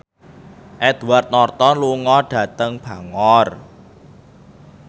Edward Norton lunga dhateng Bangor